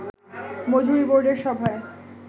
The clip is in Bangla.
মজুরি বোর্ডের সভায়